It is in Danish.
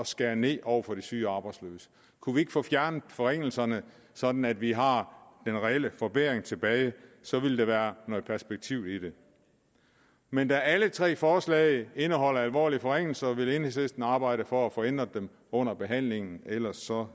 skære ned over for de syge arbejdsløse kunne vi ikke få fjernet forringelserne sådan at vi har den reelle forbedring tilbage så ville der være noget perspektiv i det men da alle tre forslag indeholder alvorlige forringelser vil enhedslisten arbejde for at få ændret dem under behandlingen ellers ser